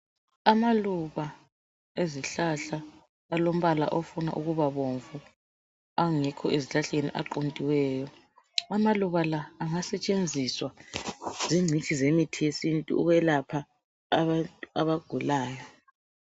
Amaluba ezihlahla alombala ofuna ukuba bomvu .Angekho ezihlahleni aquntiweyo ,amaluba la angasetshenziswa zingcitshi zemithi yesintu ukwelapha abantu abagulayo.